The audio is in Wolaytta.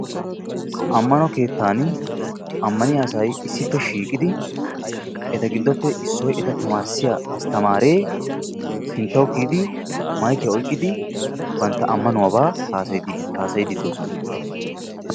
Ammanno keettan ammanniya issi shiiqiddi issi astamree yootiyooba haasayidde de'osonna.